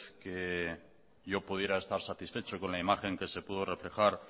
que yo pudiera estar satisfecho con la imagen que se pudo reflejar